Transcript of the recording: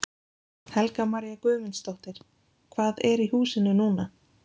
Helga María Guðmundsdóttir: Hvað er í húsinu núna?